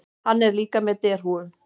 Hann er líka með derhúfu.